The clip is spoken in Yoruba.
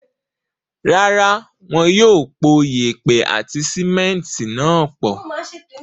Rárá, wọ́n yóò pò yèèpẹ̀ àti símẹ́ńtì náà pọ̀.